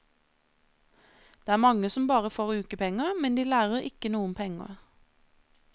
Det er mange som bare får ukepenger, men de lærer ikke noe om penger.